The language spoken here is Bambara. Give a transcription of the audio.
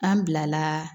An bila la